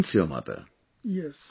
Try to convince your mother